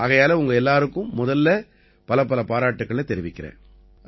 ஆகையால உங்க எல்லாருக்கும் முதல்ல பலப்பல பாராட்டுக்களைத் தெரிவிக்கறேன்